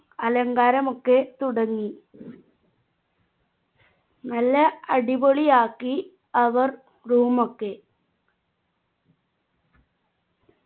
അലങ്കാരമൊക്കെ തുടങ്ങി നല്ല അടിപൊളിയാക്കി അവർ room ഒക്കെ